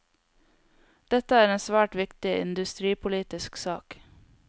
Dette er en svært viktig industripolitisk sak.